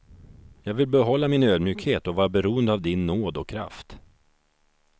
Jag vill behålla min ödmjukhet och vara beroende av din nåd och kraft.